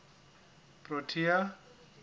protea